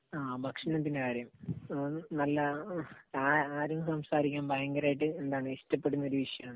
ആ ഭക്ഷണത്തിന്റെ കാര്യം. നല്ല, ആരും സംസാരിക്കാൻ ഭയങ്കരമായിട്ട് ഇഷ്ടപ്പെടുന്ന ഒരു വിഷയം ആണ്.